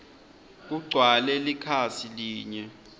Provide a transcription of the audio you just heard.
kugcwale likhasi linye